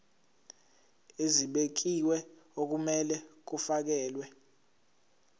ezibekiwe okumele kufakelwe